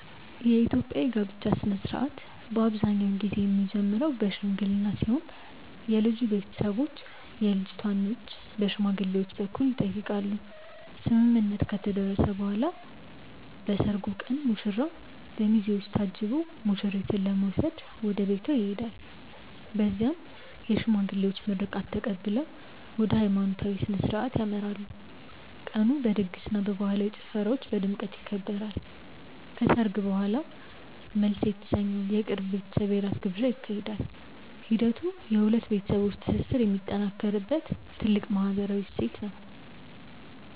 የኢትዮጵያ የጋብቻ ሥነ ሥርዓት አብዛኛውን ጊዜ የሚጀምረው በሽምግልና ሲሆን የልጁ ቤተሰቦች የልጅቷን እጅ በሽማግሌዎች በኩል ይጠይቃሉ። ስምምነት ከተደረሰ በኋላ በሰርጉ ቀን ሙሽራው በሚዜዎች ታጅቦ ሙሽሪትን ለመውሰድ ወደ ቤቷ ይሄዳል። በዚያም የሽማግሌዎች ምርቃት ተቀብለው ወደ ሃይማኖታዊ ሥነ ሥርዓት ያመራሉ። ቀኑ በድግስና በባህላዊ ጭፈራዎች በድምቀት ይከበራል። ከሰርግ በኋላም መልስ የተሰኘው የቅርብ ቤተሰብ የራት ግብዣ ይካሄዳል። ሂደቱ የሁለት ቤተሰቦች ትስስር የሚጠናከርበት ትልቅ ማህበራዊ እሴት ነው።